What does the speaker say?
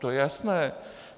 To je jasné.